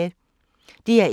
DR1